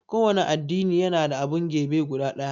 kowanne addini yana da abun gebe guda ɗaya